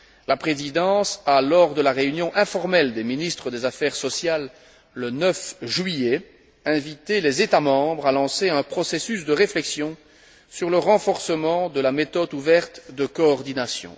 la Présidence a, lors de la réunion informelle des ministres des affaires sociales le 9 juillet, invité les États membres à lancer un processus de réflexion sur le renforcement de la méthode ouverte de coordination.